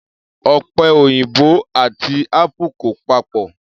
Ọ̀pẹ òyìnbò àti apple kò papọ̀